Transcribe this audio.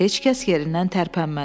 Heç kəs yerindən tərpənmədi.